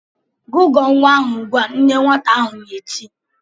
"Gụgụọ nwa ahụ ugbu a!" Nne nwata ahụ na-eti.